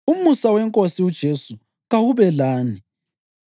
Umusa weNkosi uJesu kawube lani.